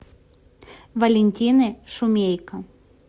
валентины шумейко